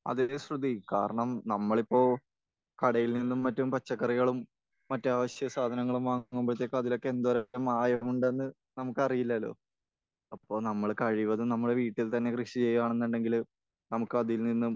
അതേലോ ശ്രുതി. കാരണം നമ്മൾ ഇപ്പോൾ കടയിൽ നിന്നും മറ്റും പച്ചക്കറികളും മറ്റു ആവശ്യസാധനങ്ങളും വാങ്ങുമ്പോഴത്തേക്കും അതിലൊക്കെ എന്ത് തരത്തിലെ മായമുണ്ടെന്ന് നമുക്കറിയില്ലല്ലോ. അപ്പോൾ നമ്മൾ കഴിവതും നമ്മൾ വീട്ടിൽ തന്നെ കൃഷി ചെയ്യുകയാണെന്നുണ്ടെങ്കിൽ നമുക്ക് അതിൽ നിന്നും